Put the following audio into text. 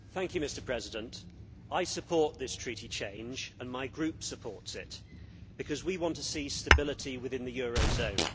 Mr President, I support this Treaty change and my group supports it, because we want to see stability within the eurozone.